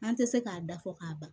An tɛ se k'a da fɔ k'a ban